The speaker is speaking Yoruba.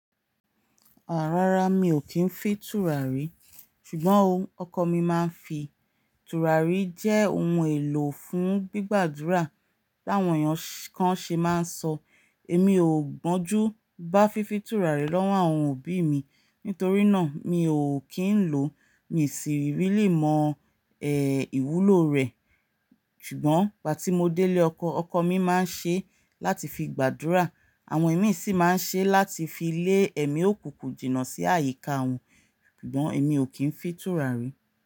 Àá rárá, mi ò kí ń fi tùràrí, ṣùgbọ́n ọkọ mi máa ń fi tùràrí jẹ́ ohun èlò fún gbígbàdúrà. Bí àwọn èèyàn kan ṣe máa ń sọ, èmi ò gbọ́njú bá fífi tùràrí lọ́wọ́ àwọn òbí mi, nítorí náà mi ò kí ń lò ó. Mi ò sì rìlẹi mọ ẹ̀ ìwúlò rẹ̀, ṣùgbọ́n ìgbà tí mo délé ọkọ, ọkọ mi máa ń ṣe láti fi gbàdúrà. Àwọn imí sì máa ń ṣe láti fi lé ẹ̀mí òkùnkùn jìnà sí àyíká wọn, ṣùgbọ́n èmi ò kí ń fi tùràrí.